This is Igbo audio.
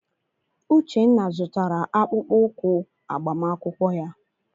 Uchenna zụtara akpụkpọ ụkwụ agbamakwụkwọ ya.